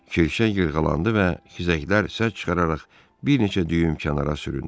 Kirşə yırğılandı və xizəklər səs çıxararaq bir neçə düyüm kənara süründü.